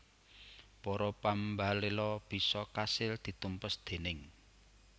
Para pambaléla bisa kasil ditumpes déning